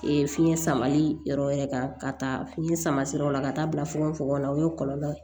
fiɲɛ samali yɔrɔ wɛrɛ kan ka taa fiɲɛ sama sira o la ka taa bila fogofogo la o ye kɔlɔlɔ ye